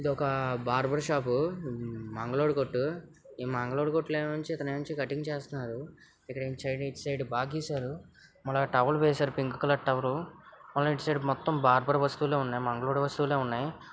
ఇది ఒక barber shop మంగలోడి కొట్టు ఈ మంగలోడి కొట్టులో ఇతను కట్టింగ్ చేస్తున్నాడు. ఇటు సైడ్ బాగా గిసారు టవల్ వేసారు పింక్ కలర్ టవల్ ఇటు సైడ్ మొత్తం బార్బర్ వస్తువులే ఉన్నాయి .మంగలోడి వస్తువులే సన్నాయి --